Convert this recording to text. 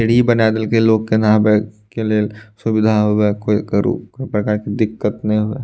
सीढ़ी बना देल कै लोग के के लिए सुविधा होवे कोई करू प्रकार के दिक्कत नइ होवे।